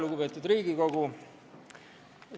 Lugupeetud Riigikogu!